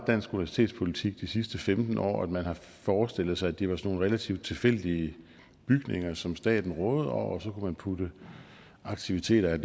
dansk universitetspolitik de sidste femten år man har forestillet sig at det var nogle relativt tilfældige bygninger som staten rådede over og så kunne man putte aktiviteter af